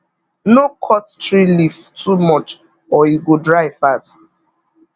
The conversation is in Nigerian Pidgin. no cut tree leaf too much or e go dry fast